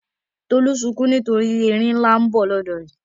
Tolú sunkún nítorí erin ńlá lọ ní bọ̀ lọ́dọ̀ rẹ̀.